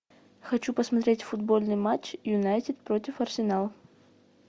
хочу посмотреть футбольный матч юнайтед против арсенала